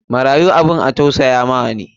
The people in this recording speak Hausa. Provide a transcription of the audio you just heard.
marayu abun a tausayawa ne.